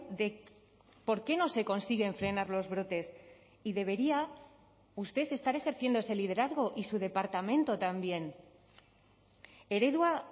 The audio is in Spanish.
de por qué no se consiguen frenar los brotes y debería usted estar ejerciendo ese liderazgo y su departamento también eredua